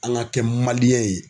An ka kɛ ye.